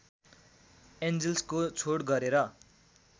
एन्जिल्सको छोड गरेर